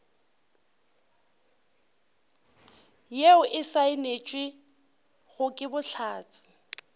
yeo e saenetšwego ke bohlatse